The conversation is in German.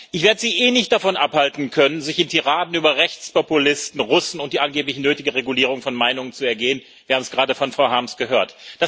Ich werde Sie eh nicht davon abhalten können, sich in Tiraden über Rechtspopulisten, Russen und die angeblich nötige Regulierung von Meinungen zu ergehen wir haben es gerade von Frau Harms gehört.